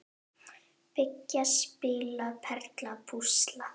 Byggja- spila- perla- púsla